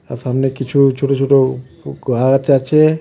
আর সামনে কিছু ছোট ছোট উ গাচ আছে .